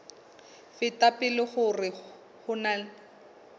feta pele hore ho na